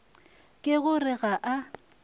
ke go re ga a